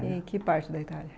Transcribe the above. E em que parte da Itália?